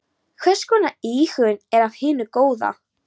Hvers konar íhugun er af hinu góða.